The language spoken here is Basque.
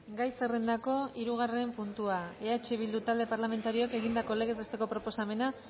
gai zerrendako hirugarren puntua eh bildu talde parlamentarioak egindako legez besteko proposamena